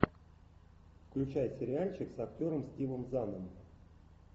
включай сериальчик с актером стивом заном